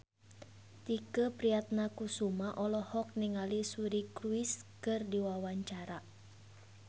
Tike Priatnakusuma olohok ningali Suri Cruise keur diwawancara